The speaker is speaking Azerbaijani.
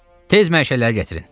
Tez məşəlləri gətirin.